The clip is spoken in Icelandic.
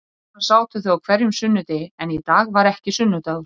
Svona sátu þau á hverjum sunnudegi en í dag var ekki sunnudagur.